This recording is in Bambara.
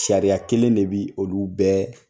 Sariya kelen de bɛ olu bɛɛ